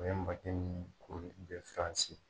O ye makɛ min kori bɛ Faransi.